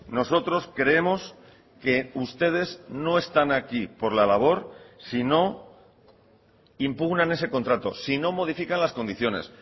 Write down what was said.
nosotros creemos que ustedes no están aquí por la labor si no impugnan ese contrato si no modifican las condiciones